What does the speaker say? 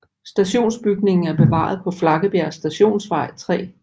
Stationsbygningen er bevaret på Flakkebjerg Stationsvej 3